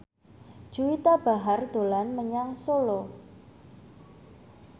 Juwita Bahar dolan menyang Solo